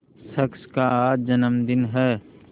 शख्स का आज जन्मदिन है